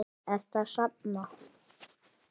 Ertu að safna?